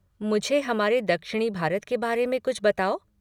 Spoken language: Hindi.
मुझे हमारे दक्षिणी भारत के बारे में कुछ बताओ।